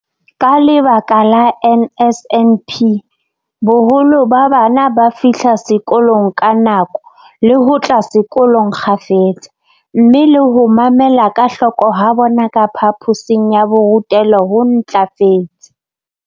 Ka lebaka la NSNP, boholo ba bana ba fihla sekolong ka nako le ho tla sekolong kgafetsa, mme le ho mamela ka hloko ha bona ka phaphosing ya borutelo ho ntlafetse.